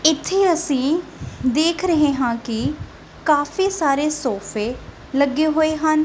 ਇੱਥੇ ਅਸੀ ਦੇਖ ਰਹੇ ਹਾਂ ਕਿ ਕਾਫੀ ਸਾਰੇ ਸੋਫ਼ੇ ਲੱਗੇ ਹੋਏ ਹਨ।